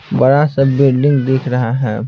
बड़ा सा बिल्डिंग दिख रहा है ।